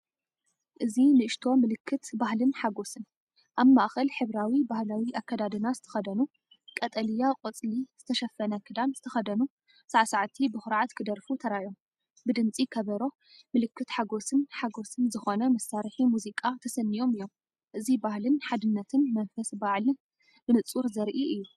እዚ ንእሽቶ ምልክት ባህልን ሓጎስን! ኣብ ማእከል ሕብራዊ ባህላዊ ኣከዳድና ዝተኸድኑ፡ቀጠልያ ቆጽሊ ዝተሸፈነ ክዳን ዝተኸድኑ ሳዕሳዕቲ ብኹርዓት ክደርፉ ተራእዮም። ብድምጺ ከበሮ፡ምልክት ሓጎስን ሓጎስን ዝኾነ መሳርሒ ሙዚቃ ተሰንዮም እዮም። እዚ ባህልን ሓድነትን መንፈስ በዓልን ብንጹር ዘርኢ እዩ።